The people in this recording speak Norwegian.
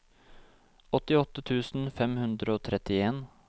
åttiåtte tusen fem hundre og trettien